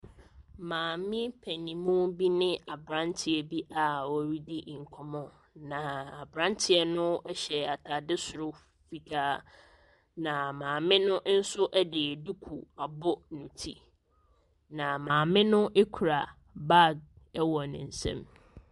Maame panin mu bine aberanteɛ bi a wɔredi nkɔmmɔ. Na aberanteɛ no hyɛ atadeɛ soro fitaa. Na maame no nso de duku abɔ ne tu. Na maame no kura bag wɔ ne nsam.